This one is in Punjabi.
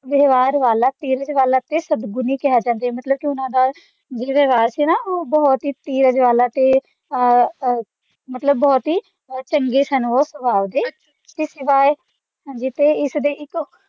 ਵਿਵਹਾਰ ਵਾਲਾ ਧੀਰਜ ਵਾਲਾ ਤੇ ਸਦਗੁਣੀ ਕਿਹਾ ਜਾਂਦਾ ਹੈ ਮਤਲਬ ਕਿ ਉਨ੍ਹਾਂ ਦਾ ਜੋ ਵਿਵਹਾਰ ਸੀ ਨਾ ਉਹ ਵਾਲਾ ਮਤਲਬ ਬਹੁਤ ਹੀ ਚੰਗੇ ਸਨ ਉਹ ਸੁਭਾਅ ਦੇ ਤੇ ਸਿਵਾਏ ਇਸਦੇ ਇੱਕ